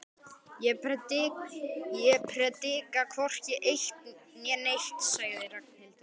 Ég predika hvorki eitt né neitt sagði Ragnhildur.